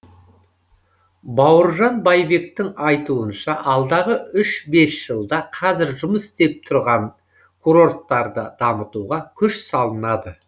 бауыржан байбектің айтуынша алдағы үш бес жылда қазір жұмыс істеп тұрған курорттарды дамытуға күш салынады